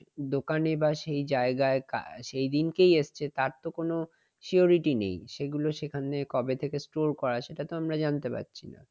দোকানে বা সেই জায়গায় সেই দিনকেই এসছে তার তো কোন surety নেই। সেগুলো সেখানে কবে থেকে store করা সেটা তো আমরা জানতে পারছি না।